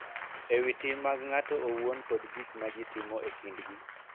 E wi tim mag ng�ato owuon kod gik ma ji timo e kindgi.